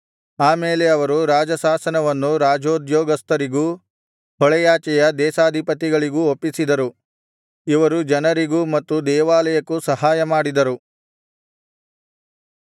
ಆ ಮೇಲೆ ಅವರು ರಾಜಶಾಸನವನ್ನು ರಾಜೋದ್ಯೋಗಸ್ಥರಿಗೂ ಹೊಳೆಯಾಚೆಯ ಪ್ರದೇಶಾಧಿಪತಿಗಳಿಗೂ ಒಪ್ಪಿಸಿದರು ಇವರು ಜನರಿಗೂ ಮತ್ತು ದೇವಾಲಯಕ್ಕೂ ಸಹಾಯಮಾಡಿದರು